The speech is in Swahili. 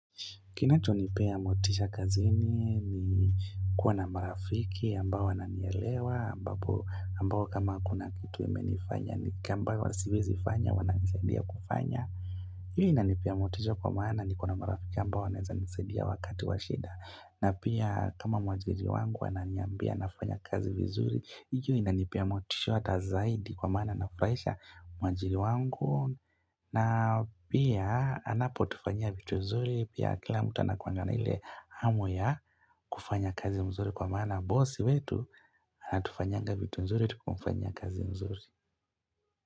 Kinachonipea motisha kazini ni kuwa na marafiki ambao wananielewa ambao kama kuna kitu imenifanya ni ambayo siwezi fanya wananisaidia kufanya hii inanipea motisha kwa maana niko na marafiki ambao wanaeza nisaidia wakati wa shida. Na pia kama mwajiri wangu ananiambia nafanya kazi vizuri, hiyo inanipea motisha hata zaidi kwa maana nafuraisha mwajiri wangu na pia anapotufanyia vitu nzuri Pia kila mtu anakuanga na ile hamu ya kufanya kazi mzuri kwa maana bosi wetu anatufanyianga vitu nzuri tukimfanyia kazi nzuri.